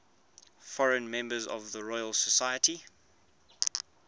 foreign members of the royal society